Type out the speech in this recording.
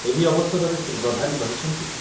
ଏହି ଅବସରରେ ଶ୍ରୀଯୁକ୍ତ ପ୍ରଧାନ କହିଛନ୍ତି